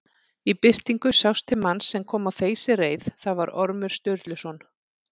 Í birtingu sást til manns sem kom á þeysireið, það var Ormur Sturluson.